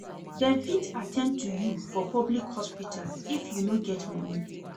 Dem fit at ten d to you for public hospital if you no get moni.